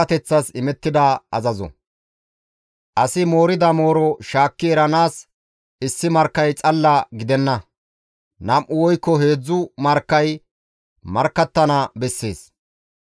Asi moorida mooro shaakki eranaas issi markkay xalla gidenna; nam7u woykko heedzdzu markkay markkattana bessees.